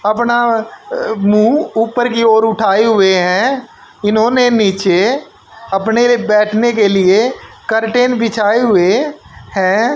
अपना अ मुंह ऊपर की ओर उठाए हुए हैं इन्होंने नीचे अपने बैठने के लिए कर्टन बिछाए हुए हैं।